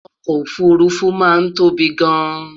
okò òfurufú máa ń tóbi gáàn